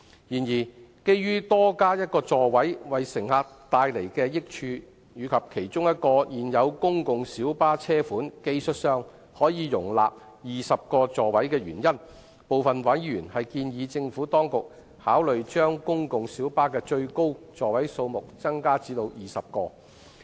然而，鑒於多加一個座位會為乘客帶來益處，以及現有公共小巴的其中一個車款技術上可容納20個座位，部分委員建議政府當局考慮將公共小巴的最高座位數目增加至20個。